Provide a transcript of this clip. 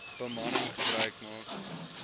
bemanning gebruik maak